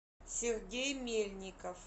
сергей мельников